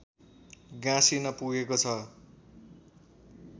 गाँसिन पुगेको छ